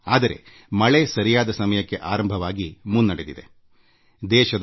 ಆದರೆ ಶುಭ ಸಂಗತಿ ಎಂದರೆ ಮುಂಗಾರು ಸ್ವಾಭಾವಿಕತೆಯಂತೆ ಸರಿಯಾದ ಸಮಯಕ್ಕೆ ಆರಂಭವಾಗಿ ಮುಂದುವರಿದಿದೆ